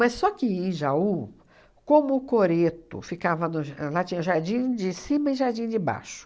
Mas só que, em Jaú, como o coreto ficava no ja... Lá tinha jardim de cima e jardim de baixo.